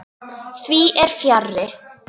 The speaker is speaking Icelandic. Því fer fjarri.